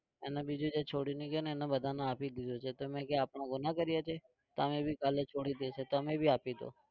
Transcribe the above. એને બીજું જે છોડીને ગયો ને એમને બધાને આપી દીધું છે તો મેં કહ્યું આપણે ગુનો કર્યો છે? તો અમે भी કાલે છોડી દઈએ છીએ તો અમને भी આપીદો.